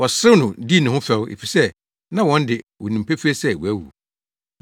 Wɔserew no dii ne ho fɛw, efisɛ na wɔn de, wonim pefee sɛ wawu.